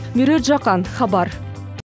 меруерт жақан хабар